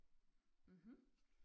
Mhm